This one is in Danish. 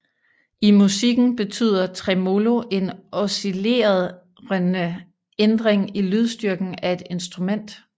I musikken betyder tremolo en oscillerende ændring i lydstyrken af et instrument